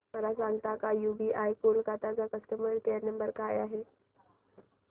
मला सांगता का यूबीआय कोलकता चा कस्टमर केयर नंबर काय आहे